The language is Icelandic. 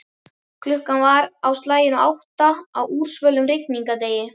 Klukkan var á slaginu átta á úrsvölum rigningardegi.